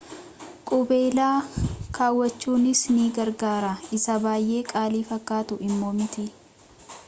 qubeela kawwachunis ni gargaara isa baay’ee qaalii fakkaatu immoo miti